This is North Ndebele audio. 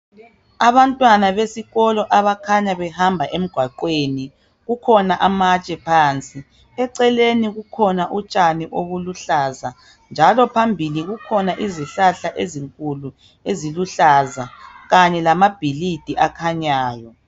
Abantwana besikolo okukhanya behamba engwaqweni kukhona amantshe phansi eceleni kukhona untshani obuluhlaza njalo phambili kukhona izihlahla ezinkulu eziluhlaza Kanye lamabhilidi akhanyayo